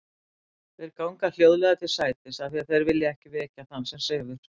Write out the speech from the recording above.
Þeir ganga hljóðlega til sætis af því þeir vilja ekki vekja þann sem sefur.